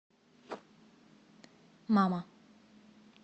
мама